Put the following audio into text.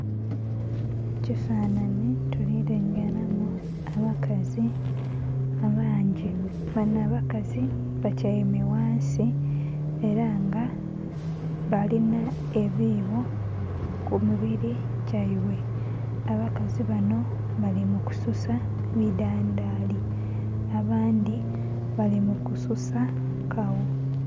Mu kifananhi tuli lengeramu abakazi abangi banho abakazi batyaime ghansi era nga balinha ebibo ku mubiri gyaibwe abakazi banho bali mu kususa ebidhandhali, abandhi bali mu kususa kagho.